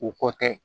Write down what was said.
O kɔ tɛ